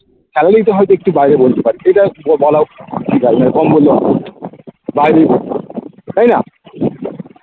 ছাড়লেই তো হয়তো একটু বাইরে বলতে পারি এটাও বলাও বাইরে তাইনা?